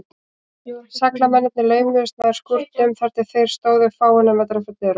Seglamennirnir laumuðust nær skúrnum, þar til þeir stóðu fáeina metra frá dyrunum.